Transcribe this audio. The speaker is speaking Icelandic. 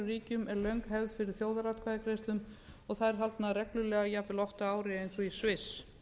ríkjum er löng hefð fyrir þjóðaratkvæðagreiðslum og þær haldnar reglulega jafnvel oft á ári eins og í sviss